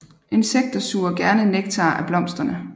Insekter suger gerne nektar af blomsterne